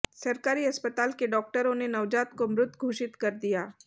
सरकारी अस्पताल के डाॅक्टरों ने नवजात को मृत घोषित कर दिया